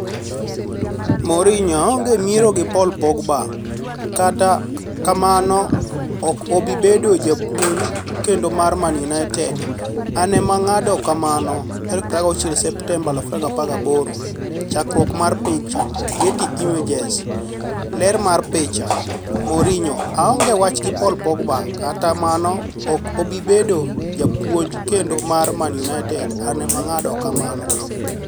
Mourinho: aonge miero gi Paul Pogba, Kata amano ok obi bedo japuonj kendo mar Man United, an ema ng'ado kamano 26 Septemba 2018 Chakruok mar picha, Getty Images. Ler mar picha, Mourinho: Aonge wach gi Paul Pogba, Kata amano ok obi bedo japuonj kendo mar Man United, an ema ng'ado kamano.